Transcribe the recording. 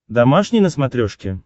домашний на смотрешке